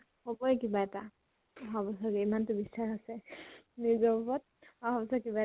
হবয়ে কিবা এটা অহা বছৰ ইমানটো বিস্বাস আছে নিজত উপৰত । আৰাম চে কিবা